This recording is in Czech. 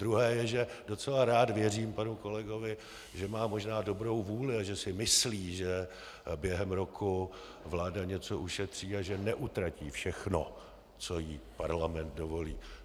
Druhé je, že docela rád věřím panu kolegovi, že má možná dobrou vůli a že si myslí, že během roku vláda něco ušetří a že neutratí všechno, co jí parlament dovolí.